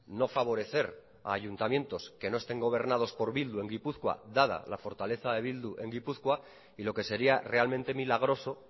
no favorecer a ayuntamientos que no estén gobernados por bildu en gipuzkoa dada la fortaleza de bildu en gipuzkoa y lo que sería realmente milagroso